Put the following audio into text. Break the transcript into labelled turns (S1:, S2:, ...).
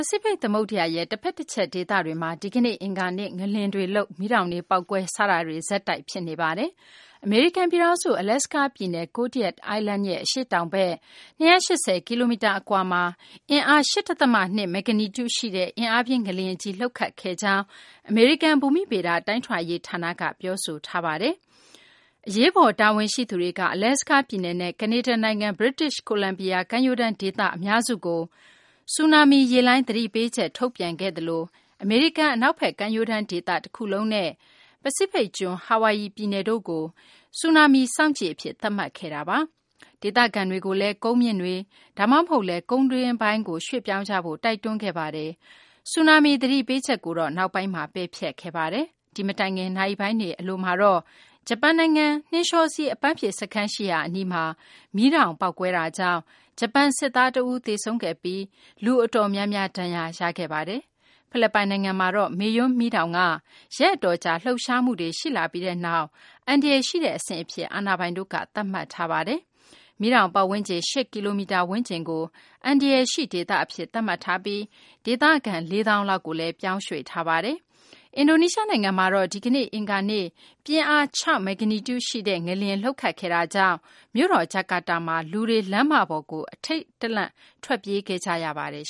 S1: စိဖိတ် သမုဒ္ဓရာရဲ့ တဖက် တချက် ဒေသတွေမှာ ဒီကနေ့ အင်္ဂါနေ့မှာ ငလျင်လှုပ်တာတွေ၊ မီးတောင် ပေါက်ကွဲတာတွေ ဆက်တိုက် ဖြစ်နေပါတယ်။ အမေရိကန် ပြည်ထောင်စု အလက်စကား ပြည်နယ် Kodiak Island ရဲ့ အရှေ့တောင်ဘက် ၂၈၀ ကီလိုမီတာ အကွာမှာ အင်အား ၈ ဒသမ ၂ မဂ္ဂနီကျူ ရှိတဲ့ အင်အားပြင်း ငလျင်ကြီး လှုပ်ခတ်ခဲ့ကြောင်း အမေရိကန် ဘူမိဗေဒ တိုင်းထွာရေး ဌာနက ပြောဆိုပါတယ်။ အရေးပေါ် တာဝန်ရှိသူတွေက အလက်စကားပြည်နယ်နဲ့ ကနေဒါနိုင်ငံ British Columbia ကမ်းရိုးတန်း ဒေသ အများစုကို ဆူနာမီ ရေလှိုင်း သတိပေးချက် ထုတ်ပြန်ခဲ့သလို အမေရိကန် အနောက်ဘက်ကမ်းရိုးတန်း ဒေသ တခုလုံးနဲ့ ပစိဖိတ်ကျွန်း ဟာဝိုင်အီ ပြည်နယ်တို့ကို ဆူနာမီ စောင့်ကြည့်အဖြစ် သတ်မှတ်ခဲ့ပါတယ်။ ဒေသခံတွေကိုလည်း ကုန်းမြင့်တွေ ဒါမှမဟုတ်လည်း ကုန်းတွင်းပိုင်းကို ရွှေ့ပြောင်းကြဖို့ တိုက်တွန်းခဲ့ပါတယ်။ ဆူနာမီ သတိပေးချက်ကို နောက်ပိုင်းမှာ ပယ်ဖျက်ခဲ့ပါတယ်။ ဒီ မတိုင်ခင် နာရီပိုင်းတွေ အတွင်းကတော့ ဂျပန်နိုင်ငံက နှင်းလျှောစီး အပန်းဖြေ စခန်း ရှိရာ အနီးမှာ မီးတောင် ပေါက်ကွဲတာကြောင့် ဂျပန် စစ်သား တဦး သေဆုံးခဲ့ပြီး လူအတော်များများ ဒဏ်ရာရခဲ့ပါတယ်။ ဖိလစ်ပိုင် နိုင်ငံမှာတော့ မေယွန် မီးတောင်က ရက်အတော်ကြာ လှုပ်ရှားမှုတွေ ရှိလာပြီးနောက် အန္တရာယ် ရှိတဲ့ အဆင့်အဖြစ် အာဏာပိုင်တို့က သတ်မှတ်ထားပါတယ်။ မီးတောင် ပတ်ဝန်းကျင် ၈ ကီလိုမီတာ ဝန်းကျင်ကို အန္တရာယ်ရှိ ဒေသ အဖြစ် သတ်မှတ်ထားပြီး ဒေသခံ ၄ သောင်းလောက်ကိုလည်း ပြောင်းရွှေ့ထားပါတယ်။ အင်ဒိုနီးရှား နိုင်ငံမှာတော့ ဒီကနေ့ အင်္ဂါနေ့ ပြင်းအား ၆ မဂ္ဂနီကျူရှိတဲ့ ငလျင် လှုပ်ခတ်ခဲ့တာကြောင့် မြို့တော် ဂျကာတာမှာ လူတွေ လမ်းမတွေပေါ်ကို ထိတ်လန့်တကြား ထွက်ပြေးခဲ့ကြရပါတယ်